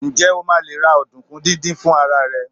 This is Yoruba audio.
njé o ma le ra ọdunkun didin fún ara rẹ